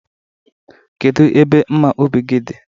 Kedu ebe mma ubi gi dị?